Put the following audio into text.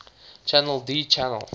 channel d channel